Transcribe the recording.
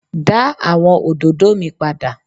da awọn ododo mi pada!